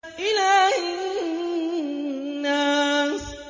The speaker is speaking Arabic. إِلَٰهِ النَّاسِ